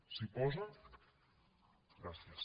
s’hi posen gràcies